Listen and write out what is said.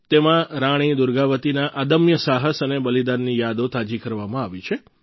તેમાં રાણી દુર્ગાવતીના અદમ્ય સાહસ અને બલિદાનની યાદો તાજી કરવામાં આવી છે